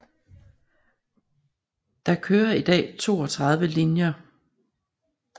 Der kører i dag 32 linjer